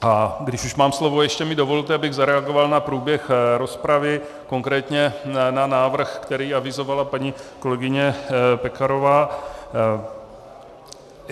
A když už mám slovo, ještě mi dovolte, abych zareagoval na průběh rozpravy, konkrétně na návrh, který avizovala paní kolegyně Pekarová.